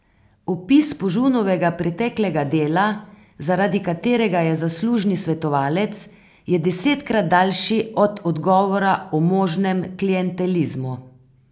Opis Požunovega preteklega dela, zaradi katerega je zaslužni svetovalec, je desetkrat daljši od odgovora o možnem klientelizmu.